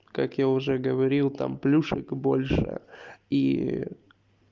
как я уже говорил там плюшек больше и